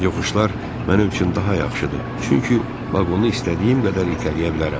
Yoxuşlar mənim üçün daha yaxşıdır, çünki vaqonu istədiyim qədər itələyə bilərəm.